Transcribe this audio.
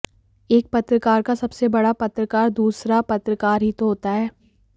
एक पत्रकार का सबसे बड़ा पत्रकार दूसरा पत्रकार ही तो होता है